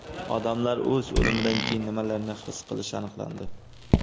Odamlar o‘z o‘limidan keyin nimalarni his qilishi aniqlandi.